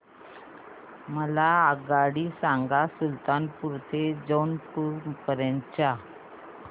मला आगगाडी सांगा सुलतानपूर ते जौनपुर पर्यंत च्या